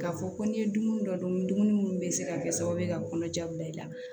K'a fɔ ko ni ye dumuni dɔ dun dumuni munnu bɛ se ka kɛ sababu ye ka kɔnɔja bila i la